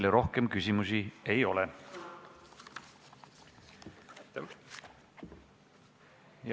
Teile rohkem küsimusi ei ole.